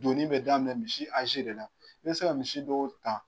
Doni bɛ daminɛ misi de la i bɛ se ka misi dɔw ta